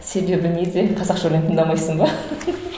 себебі неде қазақша өлең тыңдамайсың ба